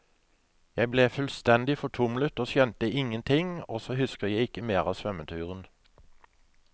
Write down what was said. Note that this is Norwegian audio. Jeg ble fullstendig fortumlet og skjønte ingenting, og så husker jeg ikke mer av svømmeturen.